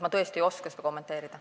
Ma tõesti ei oska seda kommenteerida.